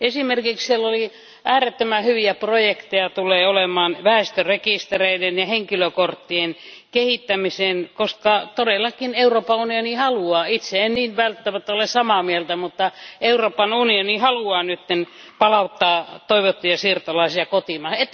Esimerkiksi siellä oli äärettömän hyviä projekteja väestörekistereiden ja henkilökorttien kehittämiseen, koska todellakin Euroopan unioni haluaa itse en niin välttämättä ole samaa mieltä mutta Euroopan unioni haluaa nyt palauttaa toivottuja siirtolaisia kotimaahan.